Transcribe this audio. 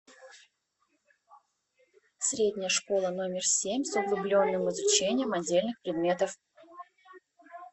средняя школа номер семь с углубленным изучением отдельных предметов